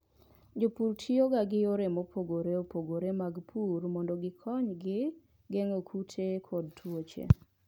Jopur tiyoga gi yore mopogore opogore mag pur mondo gikonygi geng'o kute kod tuoche.